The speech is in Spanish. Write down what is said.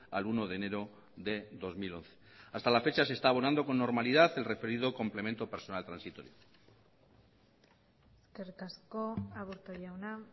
al uno de enero de dos mil once hasta la fecha se está abonando con normalidad el referido complemento personal transitorio eskerrik asko aburto jauna